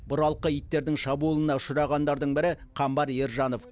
бұралқы иттердің шабуылына ұшырағандардың бірі қамбар ержанов